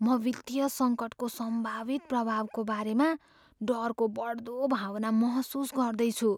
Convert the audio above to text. म वित्तीय सङ्कटको सम्भावित प्रभावको बारेमा डरको बढ्दो भावना महसुस गर्दैछु।